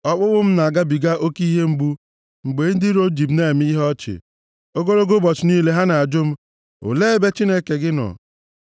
Ọkpụkpụ m na-agabiga oke ihe mgbu, mgbe ndị iro m ji m na-eme ihe ọchị, ogologo ụbọchị niile ha na-ajụ m, “Olee ebe Chineke gị nọ?”